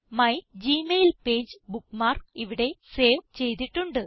my Gmail page bookmark ഇവിടെ save ചെയ്തിട്ടുണ്ട്